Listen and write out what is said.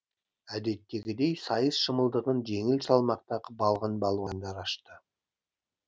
әдеттегідей сайыс шымылдығын жеңіл салмақтағы балғын палуандар ашты